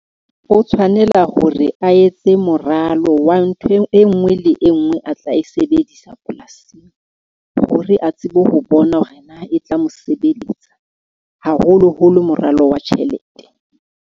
O tshwanela hore a etse moralo wa ntho e nngwe le e nngwe a tla e sebedisa polasing hore a tsebe ho bona hore na e tla mo sebeletsa, haholoholo moralo wa tjhelete.